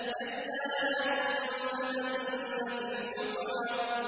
كَلَّا ۖ لَيُنبَذَنَّ فِي الْحُطَمَةِ